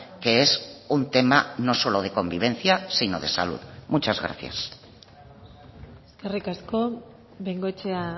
que es un tema no solo de convivencia sino de salud muchas gracias eskerrik asko bengoechea